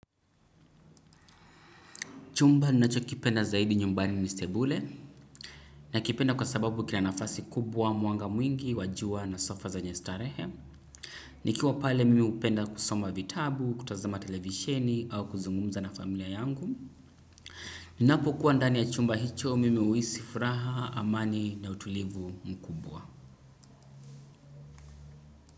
Chumba ninacho kipenda zaidi nyumbani ni sebule nakipenda kwa sababu kina nafasi kubwa mwanga mwingi wa jua na sofa zenye starehe. Nikiwa pale mimi hupenda kusoma vitabu kutazama televisheni au kuzungumza na familia yangu. Ninapo kuwa ndani ya chumba hicho mimi huhisi furaha amani na utulivu mkubwa.